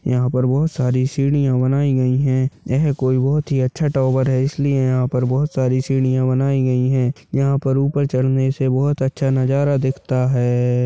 यहाँ पर बहोत सारी सीढ़िया बनाई गई है यह कोई बहुत ही अच्छा टावर है इसलिए यहाँ पर बहुत सारी सीढ़िया बनाई गई है यहाँ पर ऊपर चढ़ने से बहुत अच्छा नजारा दिखता है।